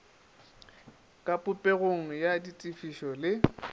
ka popegong ya ditefišo le